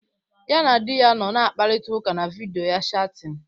Ya na di ya nọ na-akparịta ụka na vidiyo chatin.